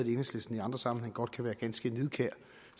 i enhedslisten i andre sammenhænge godt kan være ganske nidkære